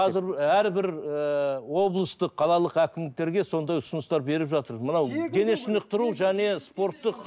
қазір әрбір ііі облыстық қалалық әкімдіктерге сондай ұсыныстар беріп жатыр мынау денешынықтыру және спорттық